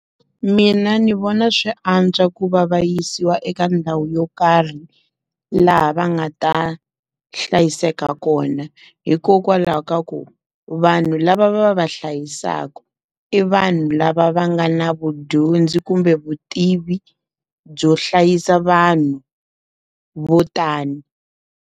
Mina ndzi vona swi antswa ku va vayisiwa eka ndhawu yo karhi, laha va nga ta hlayiseka kona. Hikokwalaho ka ku, va vanhu lava va va hlayisaka i vanhu lava va nga na vudyondzi kumbe vutivi byo hlayisa vanhu vo tani.